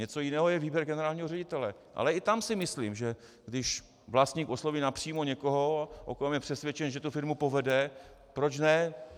Něco jiného je výběr generálního ředitele, ale i tam si myslím, že když vlastník osloví napřímo někoho, o kom je přesvědčen, že tu firmu povede, proč ne.